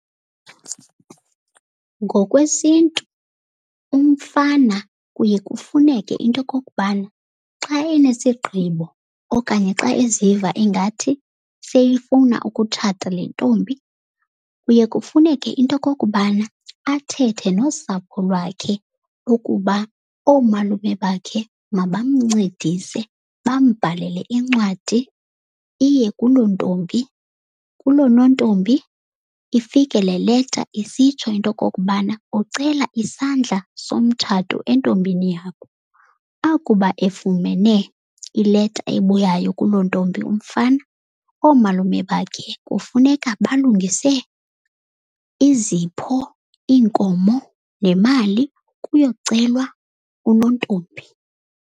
NgokwesiNtu umfana kuye kufuneke into yokokubana xa enesigibo okanye xa eziva ingathi seyifuna ukutshata le ntombi, kuye kufuneke into yokokubana athethe nosapho lwakhe ukuba oomalume bakhe mabamncedise, bambalele iincwadi iye kuloo ntombi, kuloo nontombi. Ifike le leta isitsho into yokokubana ucela isandla somtshato entombini yabo. Akuba efumene ileta ebuyayo kuloo ntombi umfana, oomalume bakhe kufuneka balungise izipho, iinkomo nemali kuyocelwa unontombi.